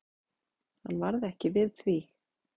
Hann varð ekki við því.